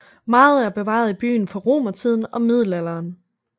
Meget er bevaret i byen fra romertiden og middelalderen